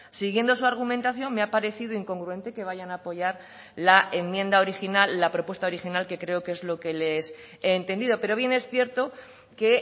siguiendo su argumentación me ha parecido incongruente que vayan a apoyar la enmienda original la propuesta original que creo que es lo que les he entendido pero bien es cierto que